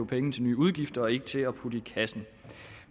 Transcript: penge til nye udgifter og ikke til at putte i kassen